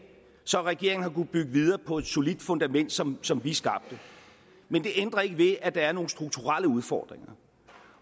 så regeringen har kunnet bygge videre på et solidt fundament som som vi skabte men det ændrer ikke ved at der er nogle strukturelle udfordringer